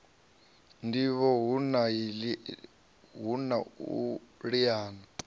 ndivho hu na u liana